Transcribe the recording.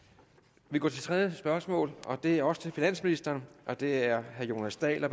vi går til det tredje spørgsmål og det er også til finansministeren og det er af herre jonas dahl